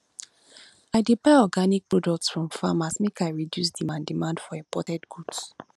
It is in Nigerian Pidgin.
i dey buy organic products from farmers make i reduce demand demand for imported goods